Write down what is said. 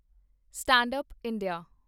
stand up India